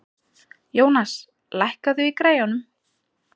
Jónas, lækkaðu í græjunum.